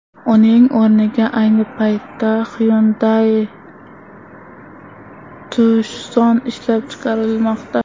Uning o‘rniga ayni paytda Hyundai Tucson ishlab chiqarilmoqda.